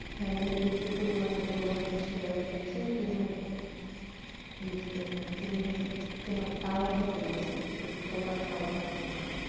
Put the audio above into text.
family কে কি পরিমান ভোগান্তির শিকার হইতে হচ্ছে তিনি বুঝতেছেনা তিনি কেন তার মধ্যে চলতেছে যে তোমরা খাও সমস্যা নাই